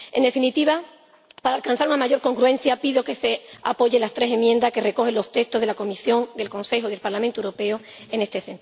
En definitiva, para alcanzar una mayor congruencia pido que se apoyen las tres enmiendas que recogen los textos de la Comisión, del Consejo y del Parlamento Europeo en este